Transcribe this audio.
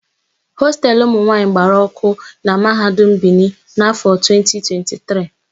Hostelu ụmụnwaanyị gbara ọ́kụ́ na Mahadum Bini n'áfọ̀ a 2023.